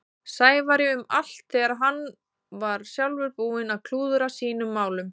Sævari um allt þegar hann var sjálfur búinn að klúðra sínum málum.